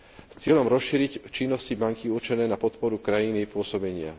s cieľom rozšíriť činnosti banky určené na podporu krajiny jej pôsobenia.